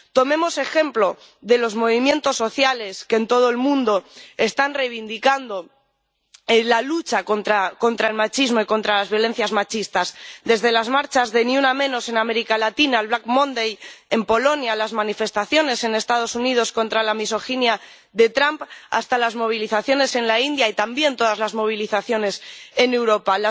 Tomemos ejemplo de los movimientos sociales que en todo el mundo están reivindicando la lucha contra el machismo y contra las violencias machistas, de las marchas de Ni una menos en América Latina al Black Monday en Polonia, desde las manifestaciones en Estados Unidos contra la misoginia de Trump hasta las movilizaciones en la India y también todas las movilizaciones en Europa.